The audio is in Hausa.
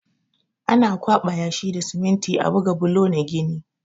Ana ƙwaɓa yashi da siminti a buga bulo na gini.